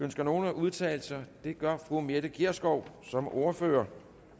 ønsker nogen at udtale sig det gør fru mette gjerskov som ordfører